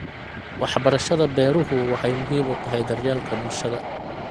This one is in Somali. Waxbarashada beeruhu waxay muhiim u tahay daryeelka bulshada.